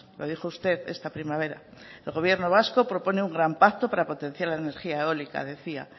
lo dijo usted esta primavera el gobierno vasco propone un gran pacto para potenciar la energía eólica decía